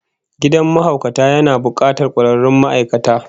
Gidan mahaukata yana bukatar kwararrun ma'aikata